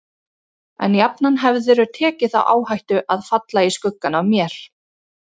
En jafnan hefðirðu tekið þá áhættu að falla í skuggann af mér.